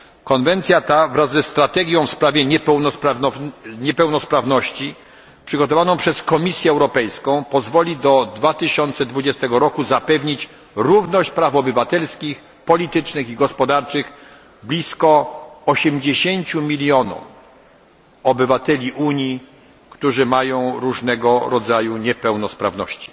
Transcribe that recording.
Konwencja ta, wraz ze strategią w sprawie niepełnosprawności przygotowaną przez Komisję Europejską, pozwoli do 2020 roku zapewnić równość praw obywatelskich, politycznych i gospodarczych blisko 80 milionom obywateli Unii, którzy mają różnego rodzaju niepełnosprawności.